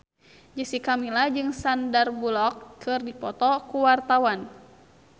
Jessica Milla jeung Sandar Bullock keur dipoto ku wartawan